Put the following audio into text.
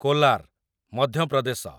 Kolar, Madhya Pradesh